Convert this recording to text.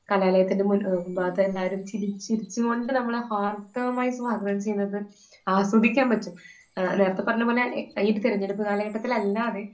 കലാലയത്തിൽ മുന്നിൽ, മുൻഭാഗത്ത് എല്ലാവരും ചിരിച്ചു ചിരിച്ചുകൊണ്ട് നമ്മളെ ഹാർദവമായി സ്വാഗതം ചെയ്യുന്നത് ആസ്വദിക്കാൻ പറ്റും. നേരത്തെ പറഞ്ഞതുപോലെ ഈ ഒരു തെരഞ്ഞെടുപ്പ് കാലഘട്ടത്തിൽ അല്ലാതെ